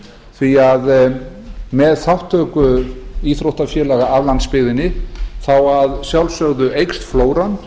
því að með þátttöku íþróttafélaga af landsbyggðinni eykst að sjálfsögðu flóran